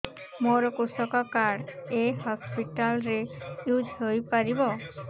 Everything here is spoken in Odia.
ମୋର କୃଷକ କାର୍ଡ ଏ ହସପିଟାଲ ରେ ୟୁଜ଼ ହୋଇପାରିବ